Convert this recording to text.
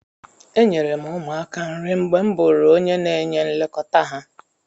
Enyere m ụmụaka nri mgbe m bụụrụ onye na-enye nlekọta ha.